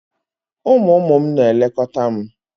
Ụmụ ụmụ m na-elekọta m.